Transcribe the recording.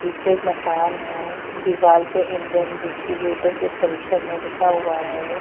पीछे एक मकान है दीवाल पे इंडियन डिस्ट्रीब्यूटर के परिसर में लिखा हुआ है।